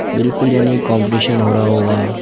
बिलकुल यानी काम्पिटिशन हो रहा होगा।